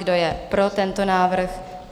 Kdo je pro tento návrh?